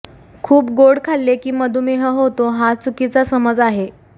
खूप गोड खाल्ले की मधुमेह होतो हा चुकीचा समज आहे